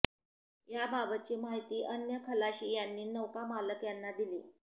याबाबतची माहिती अन्य खलाशी यांनी नौका मालक यांना दिली